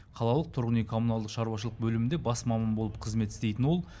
қалалық тұрғын үй коммуналдық шаруашылық бөлімінде бас маман болып қызмет істейтін ол